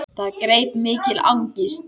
Það greip mikil angist.